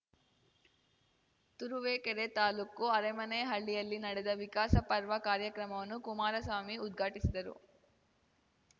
ತುರುವೇಕೆರೆ ತಾಲೂಕು ಅರೇಮನೇಹಳ್ಳಿಯಲ್ಲಿ ನಡೆದ ವಿಕಾಸ ಪರ್ವ ಕಾರ್ಯಕ್ರಮವನ್ನು ಕುಮಾರಸ್ವಾಮಿ ಉದ್ಘಾಟಿಸಿದರು